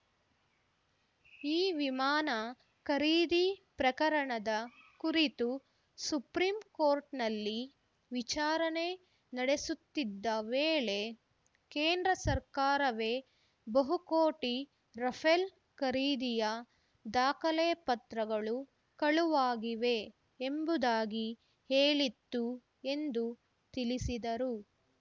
ಈ ವಿಮಾನ ಖರೀದಿ ಪ್ರಕರಣದ ಕುರಿತು ಸುಪ್ರೀಂಕೋರ್ಟ್‌ನಲ್ಲಿ ವಿಚಾರಣೆ ನಡೆಸುತ್ತಿದ್ದ ವೇಳೆ ಕೇಂದ್ರ ಸರ್ಕಾರವೇ ಬಹುಕೋಟಿ ರಫೆಲ್ ಖರೀದಿಯ ದಾಖಲೆ ಪತ್ರಗಳು ಕಳುವಾಗಿವೆ ಎಂಬುದಾಗಿ ಹೇಳಿತ್ತು ಎಂದು ತಿಳಿಸಿದರು